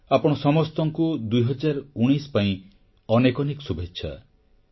ଆପଣ ସମସ୍ତଙ୍କୁ 2019 ପାଇଁ ଅନେକ ଅନେକ ଶୁଭେଚ୍ଛା